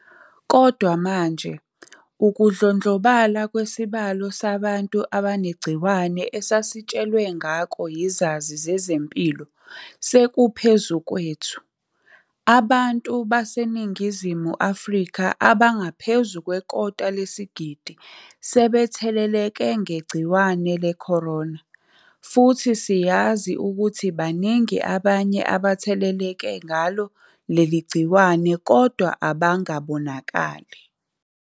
Kodwa manje, ukudlondlobala kwesibalo sabantu abanegciwane esasitshelwe ngako yizazi zezempilo, sekuphezu kwethu. Abantu baseNingizimu Afrika abangaphezu kwekota lesigidi sebetheleleke ngegciwane le-corona, futhi siyazi ukuthi baningi abanye abatheleleke ngalo leli gciwane kodwa abangabonakali.